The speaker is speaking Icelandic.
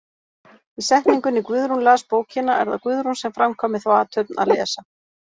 Í setningunni Guðrún las bókina er það Guðrún sem framkvæmir þá athöfn að lesa.